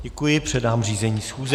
Děkuji, předám řízení schůze.